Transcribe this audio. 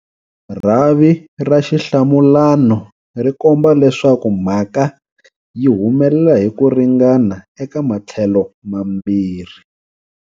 Rhavi ra xihlamulano ri komba leswaku mhaka yi humelela hi ku ringana eka matlhelo mambirhi.